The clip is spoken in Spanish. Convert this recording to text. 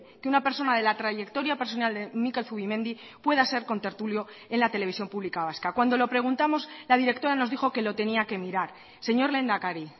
que una persona de la trayectoria personal de mikel zubimendi pueda ser contertulio en la televisión pública vasca cuando lo preguntamos la directora nos dijo que lo tenía que mirar señor lehendakari